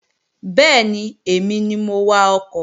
Bẹ́ẹ̀ni, èmi ni mò ń wakọ̀